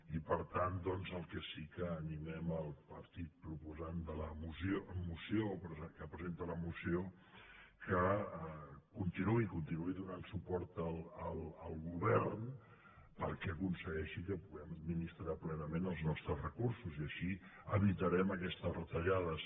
i per tant doncs el que sí que animem el partit proposant de la moció que presenta la moció perquè continuï donant suport al govern perquè aconsegueixi que puguem administrar plenament els nostres recursos i així evitarem aquestes retallades